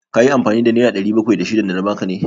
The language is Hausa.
Ka yi amfani da nera ɗari bakwai da shidan da na ba ka ne?